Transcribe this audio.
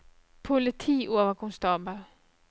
politioverkonstabel